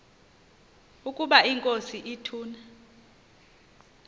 ukaba inkosi ituna